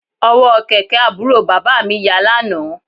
Ọ̀wọ́ kẹ̀kẹ́ àbúrò bàbá mi ya lánàá